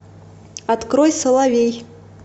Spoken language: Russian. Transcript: открой соловей